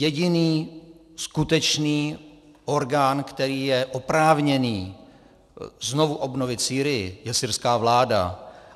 Jediný skutečný orgán, který je oprávněný znovu obnovit Sýrii, je syrská vláda.